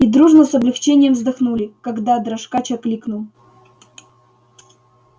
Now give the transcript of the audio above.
и дружно с облегчением вздохнули когда дрожкач окликнул